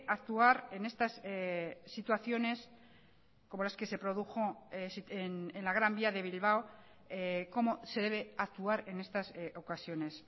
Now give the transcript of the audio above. actuar en estas situaciones como las que se produjo en la gran vía de bilbao cómo se debe actuar en estas ocasiones